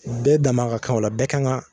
u bɛɛ dama ka kan o la bɛɛ kan ŋa